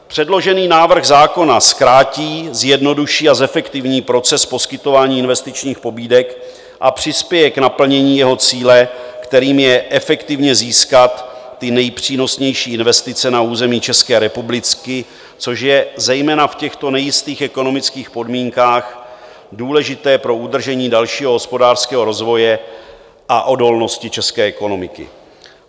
Předložený návrh zákona zkrátí, zjednoduší a zefektivní proces poskytování investičních pobídek a přispěje k naplnění jeho cíle, kterým je efektivně získat ty nejpřínosnější investice na území České republiky, což je zejména v těchto nejistých ekonomických podmínkách důležité pro udržení dalšího hospodářského rozvoje a odolnosti české ekonomiky.